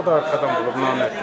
Bıçağı da arxadan vurub.